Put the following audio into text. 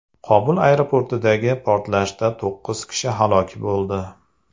Kobul aeroportidagi portlashda to‘qqiz kishi halok bo‘ldi.